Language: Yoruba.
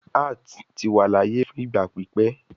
Arts ti wa laaye fun igba pipẹ